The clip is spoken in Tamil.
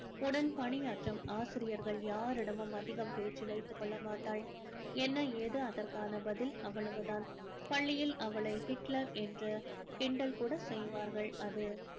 உடன் பணியாற்றும் ஆசிரியர்கள் யாரிடமும் அதிகம் பேச்சு வைத்து கொள்ள மாட்டாள். என்ன ஏது அதற்கான பதில் அவ்வளவு தான் பள்ளியில் அவளை ஹிட்லர் என்று கிண்டல் கூட செய்வார்கள். அது